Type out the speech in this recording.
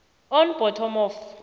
on bottom of